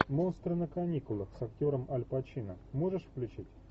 монстры на каникулах с актером аль пачино можешь включить